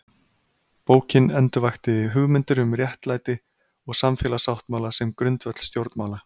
Bókin endurvakti hugmyndir um réttlæti og samfélagssáttmála sem grundvöll stjórnmála.